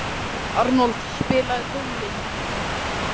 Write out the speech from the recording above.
Arnold, spilaðu tónlist.